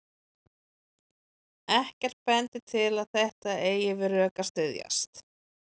Ekkert bendir til að þetta eigi við rök að styðjast.